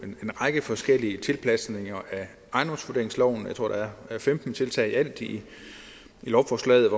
en række forskellige tilpasninger af ejendomsvurderingsloven jeg tror der er femten tiltag i alt i lovforslaget